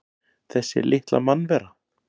Þessi litla mannvera!